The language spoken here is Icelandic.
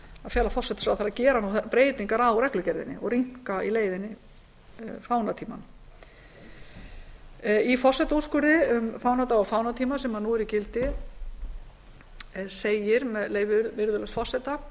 fela forsætisráðherra að gera breytingar á reglugerðinni og rýmka í leiðinni fánatímann í forsetaúrskurði um fánadaga og fánatíma sem nú er í gildi segir með leyfi virðulegs forseta